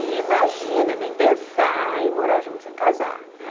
E imagina, nem pensar em morar junto sem casar, né?